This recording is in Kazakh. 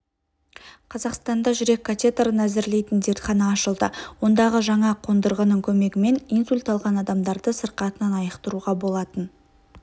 қазақстанда жүрек катеторын әзірлейтін зертхана ашылды ондағы жаңа қондырғының көмегімен инсульт алған адамдарды сырқатынан айықтыруға болатын